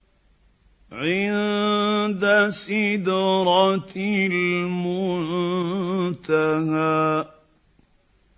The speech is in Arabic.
عِندَ سِدْرَةِ الْمُنتَهَىٰ